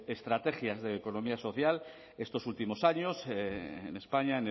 estrategias de economía social estos últimos años en españa